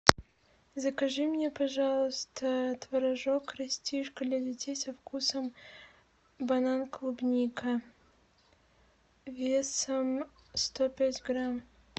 закажи мне пожалуйста творожок растишка для детей со вкусом банан клубника весом сто пять грамм